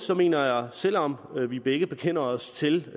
jeg mener at selv om vi begge bekender os til at